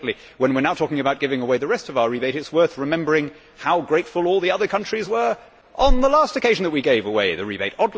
Incidentally, when we are now talking about giving away the rest of our rebate, it is worth remembering how grateful all the other countries were on the last occasion that we gave away the rebate.